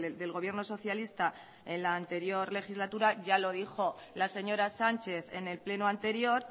del gobierno socialista en la anterior legislatura ya lo dijo la señora sánchez en el pleno anterior